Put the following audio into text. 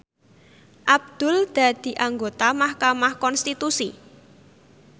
Abdul dadi anggota mahkamah konstitusi